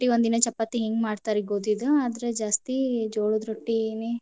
ರೊಟ್ಟಿ ಒಂದಿನಾ ಚಪಾತಿ ಹಿಂಗ್ ಮಾಡ್ತಾರ್ರೀ ಗೋಧಿದ್ ಆದ್ರ ಜಾಸ್ತಿ ಜೋಳದ್ ರೊಟ್ಟಿನೇ.